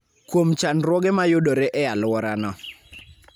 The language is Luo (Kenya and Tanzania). kuom chandruoge ma yudore e alworano.